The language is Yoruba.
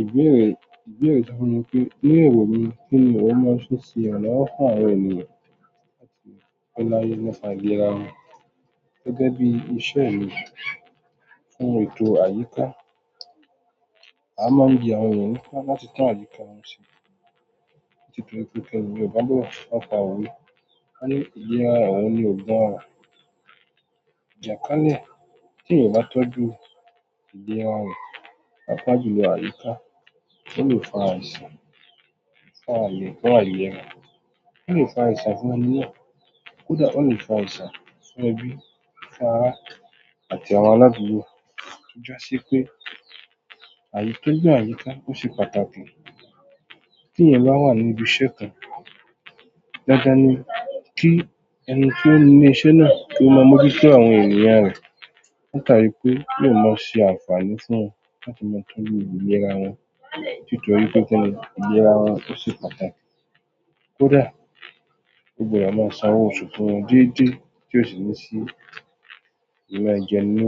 Ìbéèrè, ìbéèrè tí wọ́n yàn pé, ní èrò mi kí ni wọ́n máa ń fi ṣe àwọn ọ̀rẹ́ ènìyàn láti rí pé láyé ní ọ̀nà àgbé ara wọn gẹ́gẹ́ bí iṣẹ́ mi fún ètò àyíká, a máa ń gbé àwọn ènìyàn pọ̀ láti tan àyíká wọn sílẹ̀ nítorí pé kí ẹni ò bá gbọ́dọ̀ má pa òwe, ẹ ní ìjẹ́ ara rẹ ò ní ọgbọ́n rẹ. Ìjàkán ni kí èèyàn bá tọ́jú ìlẹ́ ara rẹ, àpá jùlọ àyíká, ó lè fa àìsàn, fa àyè, kó àyè ara, ó lè fa àìsà fún ẹni náà. Kódà ó lè fa àìsà fún ẹbí, fún ará àti àwọn aládùúgbò. Jọ́ṣí pé àyíká, gbígbọ́n àyíká ó ṣe pàtàkì. Kí èèyàn bá wà ní ibi iṣẹ́ kan, dándán ni kí ẹni tó ní iṣẹ́ náà kí ó ma moju tó àwọn ènìyàn rẹ̀. Ó ta rí pé yóò má ṣe àǹfààní fún wọn láti máa tún yí ìjẹ́ ara wọn nítorí pé kí ẹni ìjẹ́ ara wọn ó ṣe pàtàkì. Kódà ó gbọ́dọ̀ má sanwó oṣù fún wọn dédé tí ó sì ní sí inú ẹ̀jẹ̀ inú